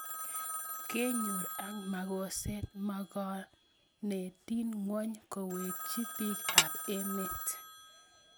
kenyor ak makoset makornandit nguay kewekchi pik ap emet